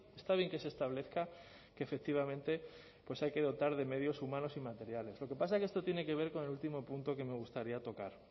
está bien que se establezca que efectivamente pues hay que dotar de medios humanos y materiales lo que pasa es que esto tiene que ver con el último punto que me gustaría tocar